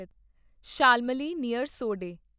Shalmali near ਸੋਡੇ